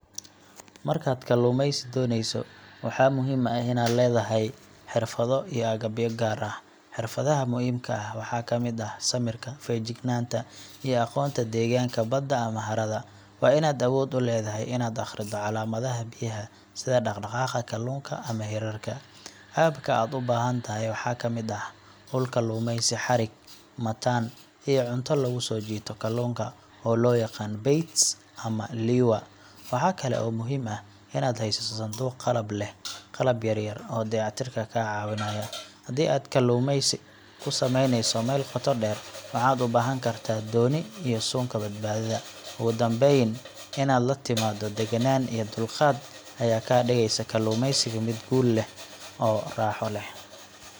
Markaad kalluumaysi doonayso, waxaa muhiim ah inaad leedahay xirfado iyo agab gaar ah. Xirfadaha muhiimka ah waxaa ka mid ah: samirka, feejignaanta, iyo aqoonta deegaanka badda ama harada. Waa inaad awood u leedahay inaad akhrido calaamadaha biyaha sida dhaqdhaqaaqa kalluunka ama hirarka. Agabka aad u baahan tahay waxaa ka mid ah: ul kalluumaysi, xarig , mataan , iyo cunto lagu soo jiito kalluunka oo loo yaqaan 'baits' ama 'lure'. Waxa kale oo muhiim ah inaad haysato sanduuq qalab leh qalab yar yar oo dayactirka kaa caawinaya. Haddii aad kalluumaysi ku sameynayso meel qoto dheer, waxaad u baahan kartaa dooni iyo suunka badbaadada. Ugu dambayn, inaad la timaaddo degganaan iyo dulqaad ayaa ka dhigaysa kalluumaysiga mid guul leh oo raaxo leh.